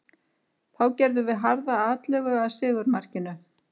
Þá gerðum við harða atlögu að sigurmarkinu.